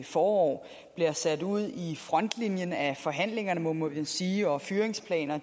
forår bliver sat ud i frontlinjen af forhandlingerne må må man sige og at fyringsplaner